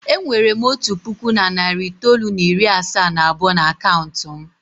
E nwere m otu puku na narị itoolu na iri asaa na abụọ n'akaụntụ m.